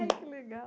Ai, que legal.